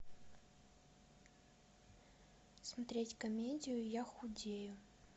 смотреть комедию я худею